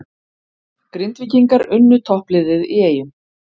Grindvíkingar unnu toppliðið í Eyjum